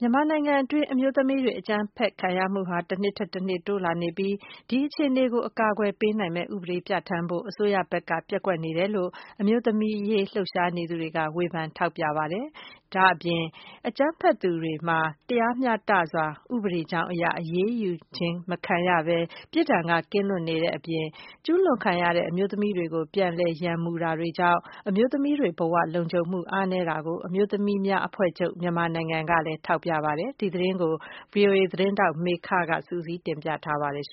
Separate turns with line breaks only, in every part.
မြန်မာနိုင်ငံတွင်း အမျိုးသမီးတွေ အကြမ်းဖက်ခံရမှုဟာ တနှစ်ထက်တနှစ်တိုးလာနေပြီး၊ ဒီအခြေအနေကို အကာအကွယ်ပေးနိုင်မယ့် ဥပဒေပြဌာန်းဖို့ အစိုးရဘက်က ပျက်ကွက်နေတယ်လို့ အမျိုးသမီးအရေး လှုပ်ရှားနေသူတွေက ထောက်ပြဝေဖန်ပါတယ်။ ဒီပြင် အကြမ်းဖက်သူများမှာ တရားမျှတစွာ ဥပဒေကြောင်းအရ အရေးယူခြင်းမခံရဘဲ ပြစ်ဒဏ်ကနေလွတ်ကင်းနေတဲ့အပြင် ကျူးလွန်ခံ အမျိုးသမီးတွေကို ပြန်လည်ရန်မှုတာတွေ ကြောင့် အမျိုးသမီးတွေ ဘဝလုံခြုံမှု အားနည်းနေတာကို အမျိုးသမီးများအဖွဲ့ချုပ် (မြန်မာနိုင်ငံ) က ထောက်ပြပါတယ်။ ဒီသတင်းကို ဗွီအိုအေ သတင်းထောက် မေခက စုစည်းတင်ပြထားပါတယ်။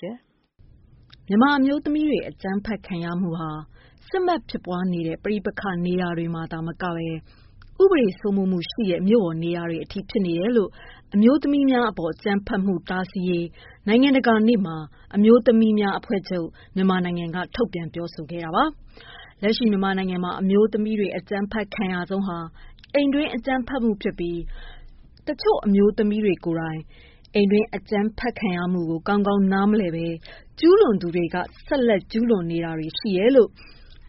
မြန်မာအမျိုးသမီးတွေ အကြမ်းဖက်ခံရမှုဟာ စစ်မက်ဖြစ်ပွားနေတဲ့ ပဋိပက္ခနေရာတွေမှာသာမကဘဲ ဥပဒေ စိုးမိုးမှုရှိတဲ့ မြို့ပေါ်နေရာတွေအထိ ဖြစ်နေတယ်လို့ အမျိုးသမီးများအပေါ်အကြမ်းဖက်မှု တားဆီးရေး နိုင်ငံတကာနေ့မှာ အမျိုးသမီးများအဖွဲ့ချုပ် (မြန်မာနိုင်ငံ)က ထုတ်ပြန်ပြောဆိုခဲ့တာပါ။ လက်ရှိ မြန်မာနိုင်ငံမှာ အမျိုးသမီးတွေ အကြမ်းဖက်ခံရဆုံးဟာ အိမ်တွင်း အကြမ်းဖက်မှု ဖြစ်ပြီး၊ တချို့သော အမျိုးသမီးတွေ ကိုယ်တိုင် အိမ်တွင်းအကြမ်းဖက်ခံရမှုကို ကောင်းကောင်းနားမလည်ပဲ ကျူးလွန်သူတွေလည်း ဆက်လက်ကျူးလွန်နေတာရှိတယ်လို့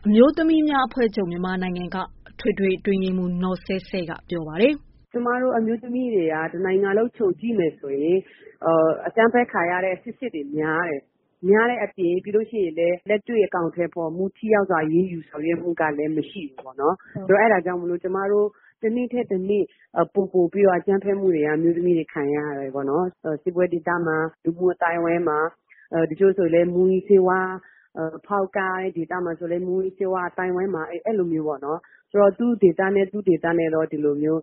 အမျိုးသမီးများအဖွဲ့ချုပ် (မြန်မာနိုင်ငံ) က အထွေထွေတွင်းရေးမှူး နော်ဆဲဆဲက ပြောပါတယ်။
“အမျိုးသမီးတွေက တနိုင်ငံလုံး ခြုံကြည့်မယ်ဆိုရင် အကြမ်းဖက်ခံရတဲ့ အကြောင်းတွေ များတယ်ပေါ့နော်။ များတဲ့အပြင် လက်တွေ့အကောင်အထည်ဖော်မှု ၊ ထိရောက်စွာအရေးယူဆောင်ရွက်မှုကလည်း မရှိဘူးပေါ့နော်။ ဆိုတော့ အဲဒါကြောင့် ကျမတို့ တနေ့ထက် တနေ့ ပိုပိုပြီးတော့ အကြမ်းဖက်မှုတွေက အမျိုးသမီးတွေ ခံရတယ်ပေါ့နော်။ စစ်ပွဲဒေသမှာ ၊ လူမှုအသိုင်းအဝိုင်းမှာ တချို့ဆိုရင်လည်း မူးယစ်ဆေးဝါးအသိုင်းအဝိုင်းမှာ အဲလိုမျိုးပေါ့နော် သူ့ဒေသနဲ့ သူ ဒီလိုမျိုး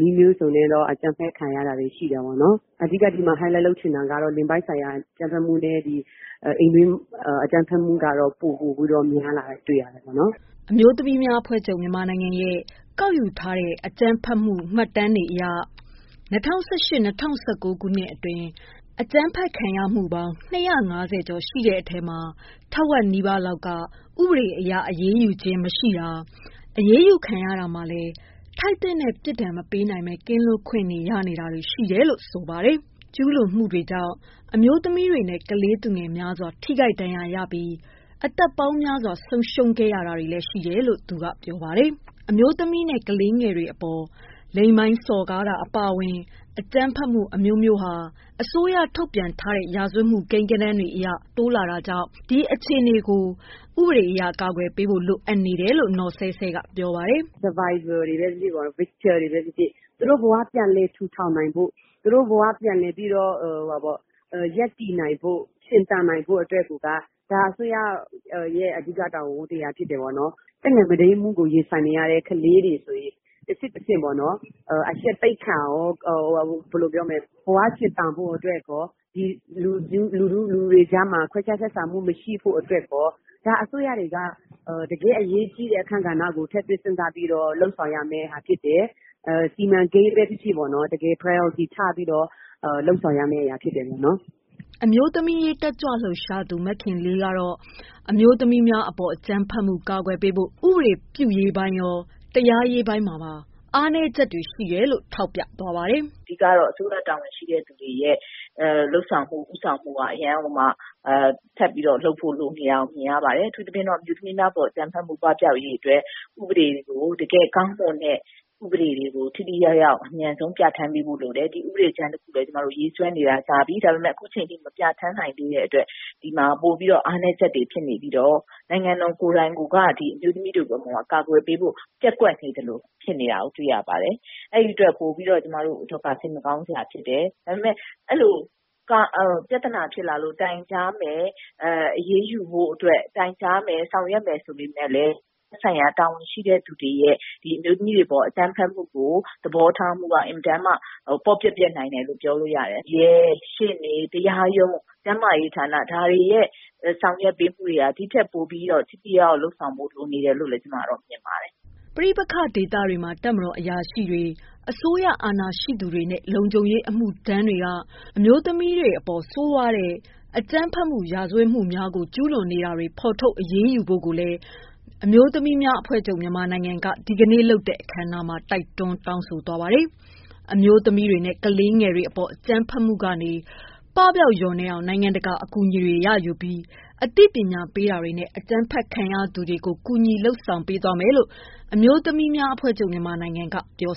နည်းမျိုးစုံနဲ့တော့ အကြမ်းဖက် ခံရတာရှိတယ်။ အဓိက ဒီမှာ Highlight လုပ်ချင်တာကတော့ လိင်ပိုင်းဆိုင်ရာအကြမ်းဖက်မှုနဲ့ အိမ်တွင်းအကြမ်းဖက်ခံရတာတွေ ပိုပြီးများလာတာ တွေ့ရတယ်။”
အမျိုးသမီးများအဖွဲ့ချုပ် (မြန်မာနိုင်ငံ)ရဲ့ကောက်ယူထားတဲ့ အကြမ်းဖက်မှုမှတ်တမ်းအရ ၂၀၁၈-၂၀၁၉ ခုနှစ်အတွင်း အကြမ်းဖက်ခံရမှု အမှုပေါင်း ၂၅၀ကျော်ရှိတဲ့အထဲမှာ ထက်ဝက်နီးပါးလောက်က ဥပဒေအရ အရေးယူခံရခြင်းမရှိတာ၊ အရေးယူခံရတာမှာလည်း ထိုက်သင့်တဲ့ ပြစ်ဒဏ် မပေးနိုင်ဘဲ ကင်းလွတ်ခွင့်ရတာတွေ ရှိနေတယ်လို့ ဆိုပါတယ်။ ကျူးလွန်မှုတွေကြောင့် အမျိုးသမီး တွေနဲ့ ကလေးသူငယ်များစွာ ထိခိုက်ဒဏ်ရာရှိပြီး အသက်ပေါင်းများစွာ သေဆုံးခဲ့ရတာတွေရှိနေတယ်လို့ ဆိုပါတယ်။ အမျိုးသမီးနဲ့ အမျိုးသမီးငယ်တွေအပေါ် လိင်ပိုင်းစော်ကားတာအပါအဝင် အကြမ်းဖက်မှုအမျိုးမျိုးဟာ အစိုးရ ထုတ်ပြန်တဲ့ ရာဇဝတ်မှုကိန်းဂဏန်းတွေအရ တိုးလာတာကြောင့် ဒီအခြေအနေကို ဥပဒေအရ ကာကွယ်ပေးဖို့ လိုအပ်နေတယ်လို့ နော်ဆဲဆဲက
ပြောပါတယ်။ “Survivor တွေပဲ ဖြစ်ဖြစ် Victims တွေပဲ ဖြစ်ဖြစ်ပေ့ါနော် သူတို့ဘ၀ ပြန်လည်ထူထောင်နိုင်ဖို့ ၊ သူတို့ဘ၀ ပြန်လည်ရပ်တည်နိုင်ဖို့အတွက်က အစိုးရရဲ့ အဓိက တာဝန် ဝတ္တရားဖြစ်တယ်။ သက်ငယ် မုဒိမ်းမှုကိုရင်ဆိုင်နေရတဲ့ ကလေးငယ်တွေဆိုရင် တဆင့်တဆင့်ပေါ့နော် အရှက်သိက္ခာရော ၊ ဘ၀ ရှင်သန်ဖို့အတွက်ရော ၊ ဒီလူတွေကြားမှာ ခွဲခြားဆက်ဆံဖို့မရှိဖို့အတွက်ရော၊ ဒါအစိုးရတွေက တကယ့်အရေးကြီးတဲ့ အခန်းကဏ္ဍကို ထည့်သွင်းစဉ်းစားပြီးတော့ လုပ်ဆောင်ရမှာဖြစ်တယ်။ စီမံကိန်း ဖြစ်ဖြစ် တကယ် priority ချပြီးတော့ လုပ်ဆောင်ရမယ့်အရာ ဖြစ်တယ်။” အမျိုးသမီး အရေးတက်ကြွလှုပ်ရှားသူ
မခင်လေးကတော့ အမျိုးသမီးများအပေါ် အကြမ်းဖက်မှု ကာကွယ်ပေးဖို့ ဥပဒေပြုရေးပိုင်းရော တရားရေးပိုင်းမှာပါ
အားနည်းချက်တွေရှိနေတယ်လို့ ထောက်ပြပါတယ်။ “ အဓိကတော့ အစိုးရတာဝန်ရှိသူတွေရဲ့ လုပ်ဆောင်မှု ၊ ဦးဆောင်မှုက အရမ်းကို ထပ်ပြီးလုပ်ဖို့ လိုနေတာမြင်ရပါတယ်။ အထူးသဖြင့် အမျိုးသမီးများအပေါ် အကြမ်းဖက်မှု ပပြောက်ရေးအတွက် တကယ်ကောင်းမွန်တဲ့ဥပဒေတွေကို အမြန်ဆုံး ထိထိရောက်ရောက် ပြဌာန်းပေးဖို့လိုတယ်။ ဒီ ဥပဒေကြမ်းတခုလည်း ကျမတို့ ရေးဆွဲနေတာကြာပြီ ဒါပေမယ့် အခုအချိန်အထိ မပြဌာန်းနိုင်သေးတဲ့အတွက် ဒီမှာ ပိုပြီးတော့ အားနည်းချက်တွေ ဖြစ်နေပြီးတော့ နိုင်ငံတော်ကိုယ်တိုင်က အမျိုးသမီးတွေကို အကာအကွယ်ပေးဖို့ ပျက်ကွက်နေသလို ဖြစ်နေတာကိုတွေ့ရတယ် ။အဲဒီအတွက် ပိုပြီးတော့ ကျမတို့အတွက်က စိတ်မကောင်းစရာဖြစ်တယ်။ ဒါပေမယ့် အဲလို ပြဿနာဖြစ်လာလို့ တိုင်ကြားမယ် အရေးယူဖို့အတွက် ဆောင်ရွက်မယ်ဆိုပေမယ့်လည်း သက်ဆိုင်ရာ တာဝန်ရှိသူတွေရဲ့ အမျိုးသမီးတွေအပေါ် အကြမ်းဖက်မှုကို သဘောထားတာက အင်မတန်မှ ပေါ့ပျက်နိုင်တယ်လို့ ပြောလို့ရပါတယ်။ တကယ့် ရှေ့နေ ၊ တရားရုံး ၊ ကျန်းမာရေးဌာန ဒါတွေရဲ့ ဆောင်ရွက်ပေးမှုက ဒီထက်ပိုပြီး ထိထိရောက်ရောက်လုပ်ဆောင်ဖို့ လိုနေတယ်လို့ ကျမတို့ မြင်ပါတယ်။
” ပဋိပက္ခဒေသတွေမှာ တပ်မတော်အထက်အရာရှိကြီးများ၊ အစိုးရအာဏာရှိသူများ နဲ့လုံခြုံရေးအမှုထမ်းတွေက အမျိုးသမီးတွေအပေါ် ဆိုးရွားတဲ့ အကြမ်းဖက်မှု ရာဇဝတ်မှုများကို ကျူးလွန်နေတာတွေ ဖော်ထုတ်အရေးယူဖို့ကိုလည်း အမျိုးသမီးများအဖွဲ့ချုပ် (မြန်မာနိုင်ငံ) ဒီကနေ့လုပ်တဲ့ အခမ်းအနားမှာ တိုက်တွန်းတောင်းဆိုပါတယ်။ အမျိုးသမီးတွေနဲ့ ကလေးတွေ အကြမ်းဖက်မှုကနေ ပပျောက်လျော့နည်းအောင် နိုင်ငံတကာအကူအညီတွေ ရယူပြီး အသိပညာပေးတာတွေနဲ့ အကြမ်းဖက်ခံ ရသူတွေကို ကူညီပေးတာတွေလုပ်သွားမယ်လို့ အမျိုးသမီးများအဖွဲ့ချုပ် (မြန်မာနိုင်ငံ) က ပြော